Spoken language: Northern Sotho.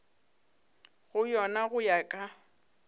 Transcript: go yona go ya ka